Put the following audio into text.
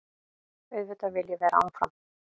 Auðvitað vil ég vera áfram.